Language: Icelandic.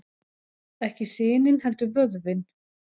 Ekki sinin heldur vöðvinn.